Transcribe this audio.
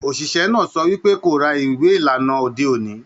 Oṣiṣẹ náà sọ wípé ko rà ìwé ìlànà ode oni.